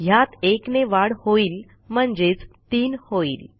ह्यात 1 ने वाढ होईल म्हणजेच 3 होईल